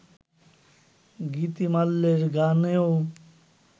গীতিমাল্যের গানেও